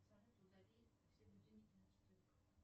салют удали все будильники на четверг